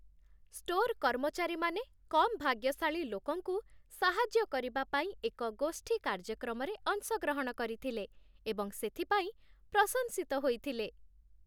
store କର୍ମଚାରୀମାନେ କମ୍ ଭାଗ୍ୟଶାଳୀ ଲୋକଙ୍କୁ ସାହାଯ୍ୟ କରିବା ପାଇଁ ଏକ ଗୋଷ୍ଠୀ କାର୍ଯ୍ୟକ୍ରମରେ ଅଂଶଗ୍ରହଣ କରିଥିଲେ ଏବଂ ସେଥିପାଇଁ ପ୍ରଶଂସିତ ହୋଇଥିଲେ